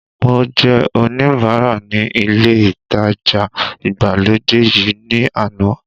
Mo jẹ́ oníbara ní ilé ìtajà ìgbàlódé yìí ní àná